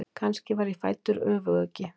Kannski var ég fæddur öfuguggi.